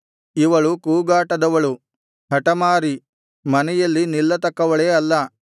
ಇವಳು ಕೂಗಾಟದವಳು ಹಟಮಾರಿ ಮನೆಯಲ್ಲಿ ನಿಲ್ಲತಕ್ಕವಳೇ ಅಲ್ಲ